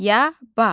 Yaba.